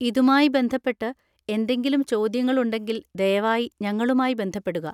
ഇതുമായി ബന്ധപ്പെട്ട് എന്തെങ്കിലും ചോദ്യങ്ങൾ ഉണ്ടെങ്കിൽ ദയവായി ഞങ്ങളുമായി ബന്ധപ്പെടുക.